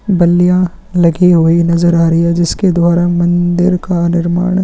बलिया लगी हुई नज़र आ रही है जिसके द्वारा मंदिर का निर्माण-